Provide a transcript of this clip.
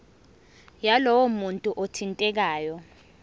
yalowo muntu othintekayo